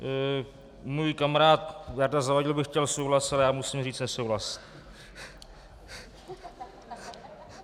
Můj kamarád Jarda Zavadil by chtěl souhlas, ale já musím říct nesouhlas.